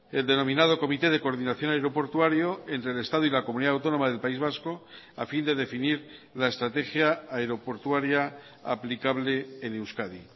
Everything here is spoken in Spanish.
el denominado comité de coordinación aeroportuario entre el estado y la comunidad autónoma del país vasco a fin de definir la estrategia aeroportuaria aplicable en euskadi